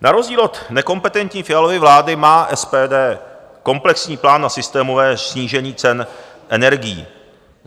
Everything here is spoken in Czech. Na rozdíl od nekompetentní Fialovy vlády má SPD komplexní plán na systémové snížení cen energií.